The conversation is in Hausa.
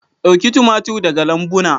Dauki tumatir daga lambuna.